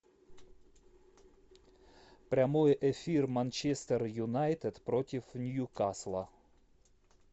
прямой эфир манчестер юнайтед против ньюкасла